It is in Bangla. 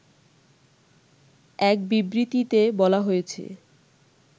এক বিবৃতিতে বলা হয়েছে